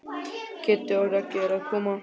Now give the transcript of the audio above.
Kiddi og Raggi eru að koma.